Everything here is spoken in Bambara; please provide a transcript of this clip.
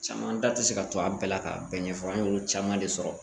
Caman da tɛ se ka to a bɛɛ la k'a bɛɛ ɲɛfɔ an y'olu caman de sɔrɔ